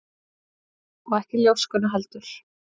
Og ekki ljóskuna heldur.